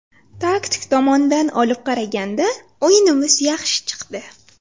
Taktik tomondan olib qaraganda, o‘yinimiz yaxshi chiqdi.